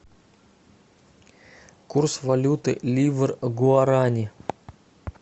курс валюты ливр гуарани